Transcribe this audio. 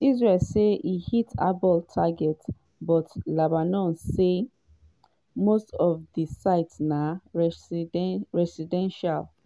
israel say e hit hezbollah targets but lebanon say most of di sites na residential.